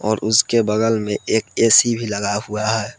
और उसके बगल में एक ए_सी भी लगा हुआ है।